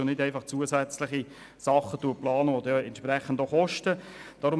Es sollen nicht zusätzliche Dinge geplant werden, welche entsprechend auch Kosten verursachen.